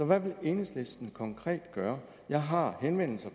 hvad vil enhedslisten konkret gøre jeg har henvendelser